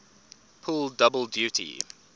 pull double duty